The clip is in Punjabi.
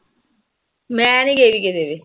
ਮੈਂ ਨੀ ਗਈ ਕਿਤੇ ਵੀ।